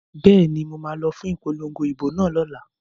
Bẹ́ẹ̀ni, mo ma lọ fún ipolongo ìbò náà lọ́la